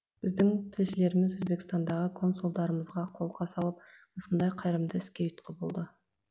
біздің тілшілеріміз өзбекстандағы консулдарымызға қолқа салып осындай қайырымды іске ұйытқы болды